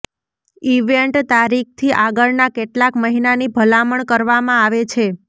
event તારીખથી આગળના કેટલાક મહિનાની ભલામણ કરવામાં આવે છે